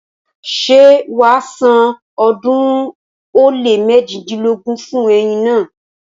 Ṣé wàá san ọ̀ọ́dúnrún ó lé méjidínlógún fún ẹyin naa?